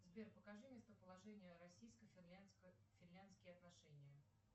сбер покажи местоположение российско финляндские отношения